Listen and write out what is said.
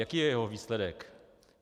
Jaký je jeho výsledek?